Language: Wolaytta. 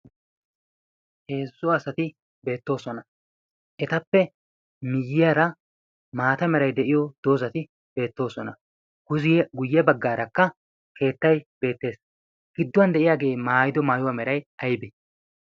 heezzo asati beettoosona. etappe miyyaara maata meray de'iyo doozati beettoosona. guyye baggaarakka keettay beettees. gidduwan de'iyaagee maayido maayuwaa meray aybee